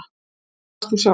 En hvar varst þú sjálf